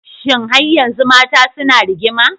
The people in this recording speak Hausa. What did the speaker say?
Shin har yanzu Mata suna rigima?